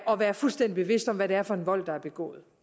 og være fuldstændig bevidst om hvad det er for en vold der er begået